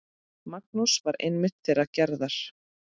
Magnús var einmitt þeirrar gerðar.